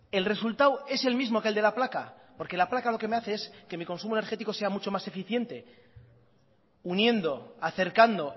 el resultado es el mismo que el de la placa porque la placa lo que me hace es que mi consumo energético sea mucho más eficiente uniendo acercando